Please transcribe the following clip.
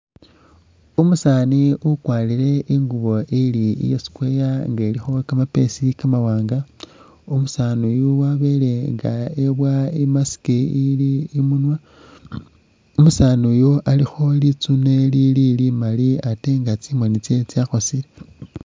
Umusani ukwarile ingubo ili iya square inga ilikho kamapesi kamawanga, umusani uyu wabelenga webula i;mask ili imunwa, umusani uyu alikho litsune lili limali atee inga tsimoni tse tsakhosile.